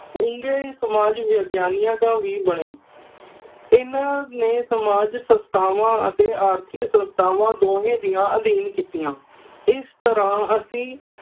ਉੱਘੇ ਸਮਾਜ ਵਿਗਿਆਨੀਆਂ ਵੀ ਬਣੇ। ਇਨ੍ਹਾਂ ਨੇ ਸਮਾਜ ਸੰਸਥਾਵਾਂ ਅਤੇ ਆਰਥਿਕ ਸੰਸਥਾਵਾਂ ਦੋਹੇ ਦੀਆਂ ਅਧੀਨ ਕੀਤੀਆਂ। ਇਸ ਤਰ੍ਹਾਂ ਅਸੀਂ